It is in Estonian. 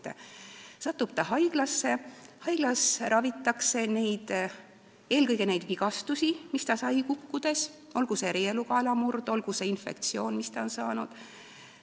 Ta satub haiglasse, kus ravitakse eelkõige neid vigastusi ja haigusi, mis tal tekkisid kukkumise tõttu, olgu see reieluukaela murd või olgu see infektsioon, mis tal on tekkinud.